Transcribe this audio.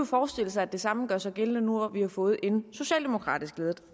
forestille sig at det samme gør sig gældende nu hvor vi har fået en socialdemokratisk ledet